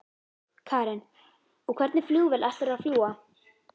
Karen: Og hvernig flugvél ætlarðu að fljúga?